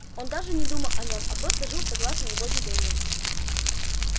он даже не думал о нём а просто жил согласно его велениям